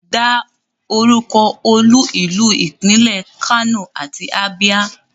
Dá orúkọ olú ìlú ìpínlẹ̀ Kano àti Abia.